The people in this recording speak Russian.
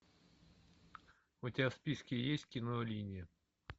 у тебя в списке есть кино линия